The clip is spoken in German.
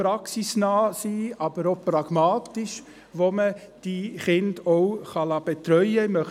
Es muss praxisnahe, aber auch pragmatisch sein, sodass man die Kinder auch betreuen lassen kann.